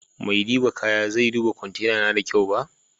maidiba kaya bai duba kwantena na da kyau ba.